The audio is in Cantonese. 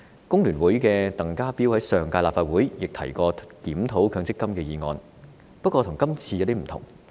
工聯會的鄧家彪便曾在上屆立法會提出關於檢討強積金的議案，但內容與今天的議案不同。